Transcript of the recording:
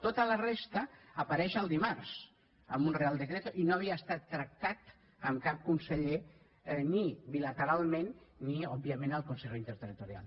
tota la resta apareix el dimarts amb un real decreto i no havia estat tractat amb cap conseller ni bilateralment ni òbviament al consejo interterritorial